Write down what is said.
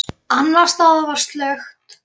Annars staðar var slökkt.